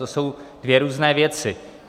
To jsou dvě různé věci.